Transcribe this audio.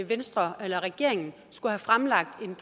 venstre eller regeringen skulle have fremlagt en